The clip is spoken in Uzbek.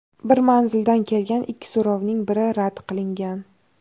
Bir manzildan kelgan ikki so‘rovning biri rad qilingan.